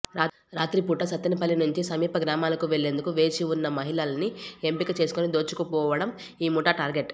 రాత్రిపూట సత్తెనపల్లి నుంచి సమీప గ్రామాలకు వెళ్లేందుకు వేచి ఉన్న మహిళల్ని ఎంపిక చేసుకుని దోచుకోవడం ఈ ముఠా టార్గెట్